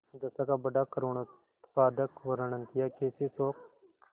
दशा का बड़ा करूणोत्पादक वर्णन कियाकैसे शोक